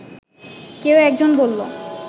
কেউ একজন বললো